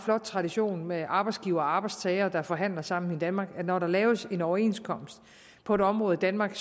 flot tradition med arbejdsgiver og arbejdstager der forhandler sammen i danmark at når der laves en overenskomst på et område i danmark